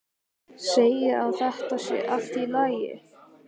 Segir að þetta sé allt í lagi.